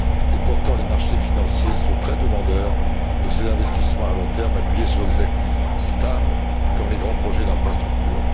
Et pourtant, les marchés financiers sont très demandeurs de ces investissements à long terme appuyés sur des actifs stables, comme les grands projets d'infrastructure.